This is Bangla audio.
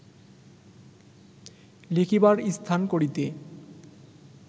লিখিবার স্থান করিতে